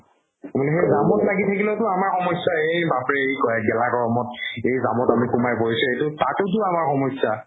মানে সেই জামত লাগি থাকিলেতো আমাৰ সমস্যা এই বাপৰে ! এই কৰাই গেলা গৰমত এই জামত আমি কোনোবাই গৈছে এইটো তাতোতো আমাৰ সমস্যা